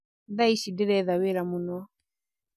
Thaa ici ndĩretha wĩra mũno